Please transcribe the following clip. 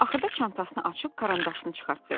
Axırda çantasını açıb karandaşını çıxartdı.